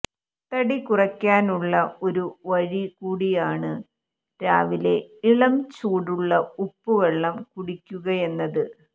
തടി കുറയ്ക്കാനുള്ള ഒരു വഴി കൂടിയാണ് രാവിലെ ഇളംചൂടുള്ള ഉപ്പുവെള്ളം കുടിയ്ക്കുകയെന്നത്